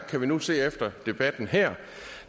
kan vi nu se efter debatten her